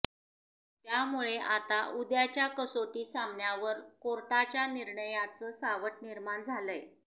त्यामुळे आता उद्याच्या कसोटी सामन्यावर कोर्टाच्या निर्णयाचं सावटं निर्माण झालंय